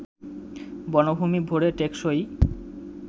বনভূমি ভরে টেকসই